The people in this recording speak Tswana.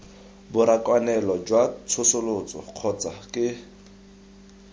borakanelo jwa tsosoloso kgotsa ke